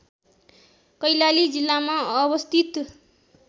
कैलाली जिल्लामा अवस्थित